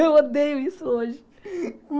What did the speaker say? Eu odeio isso hoje.